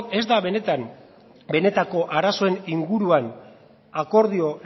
ez da benetan benetako arazoen inguruan akordio